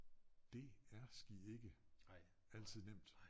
Det er sgi ikke altid nemt